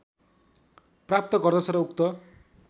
प्राप्त गर्दछ र उक्त